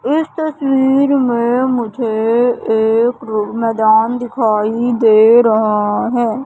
इस तस्वीर में मुझे एक मैदान दिखाई दे रहा है।